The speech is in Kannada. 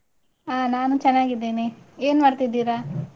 ಹ ನಾನೂ ಚನ್ನಾಗಿದ್ದೇನೆ, ಏನ್ ಮಾಡ್ತಿದೀರಾ?